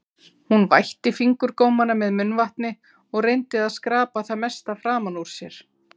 Hún vætti fingurgómana með munnvatni og reyndi að skrapa það mesta framan úr sér.